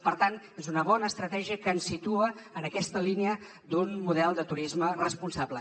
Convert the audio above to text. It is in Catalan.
per tant és una bona estratègia que ens situa en aquesta línia d’un model de turisme responsable